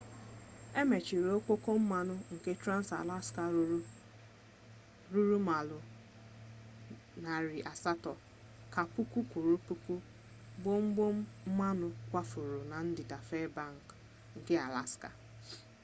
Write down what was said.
emechiri ọkpọkọ mmanụ nke trans-alaska ruru maịlụ 800 ka puku kwuru puku gbọmgbọm mmanụ kwafuru na ndịda fairbanks nke alaska